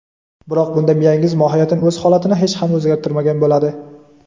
Biroq bunda miyangiz mohiyatan o‘z holatini hech ham o‘zgartirmagan bo‘ladi.